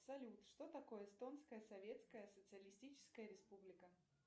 салют что такое эстонская советская социалистическая республика